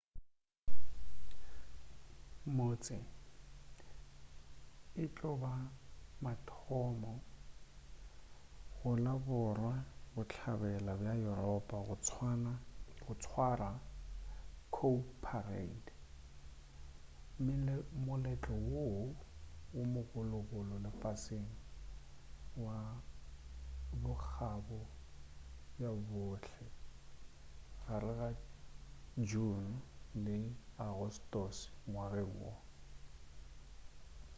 motse e tlo ba wa mathomo go la borwa-bohlabela bja yuropa go swara cowparade moletlo wo mogologolo lefaseng wa bokgabo ba bohle gare ga june le agostose ngwageng wo